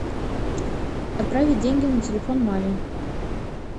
отправить деньги на телефон маме